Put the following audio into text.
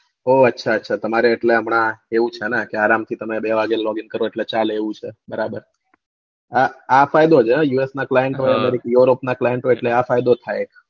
ઓ અચ્છા અચ્છા તમારે એટલે હમણાં એવું છે ને આરામ થી તમે બે વાગે logging કરો એટલે ચાલે એવું છે બરાબર આ ફાયદો USA client europe client આ ફાયદો થાય